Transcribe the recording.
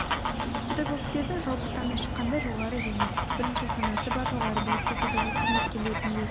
педагогтердің жалпы санына шаққанда жоғары және бірінші санаты бар жоғары білікті педагог қызметкерлердің үлесі